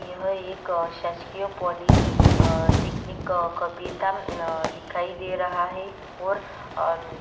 यह एक अ शासकीय पॉलि अ टेक्निक कबीरधाम अ दिखाई दे रहा है और अम्म --